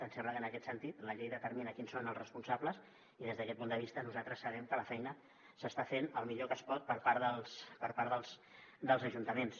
em sembla que en aquest sentit la llei determina qui són els responsables i des d’aquest punt de vista nosaltres sabem que la feina s’està fent el millor que es pot per part dels ajuntaments